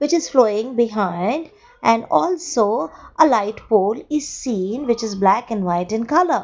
just behind and also a light pole is seen which is black and white in colour.